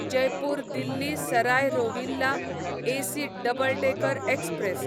Jaipur Delhi Sarai Rohilla AC double decker express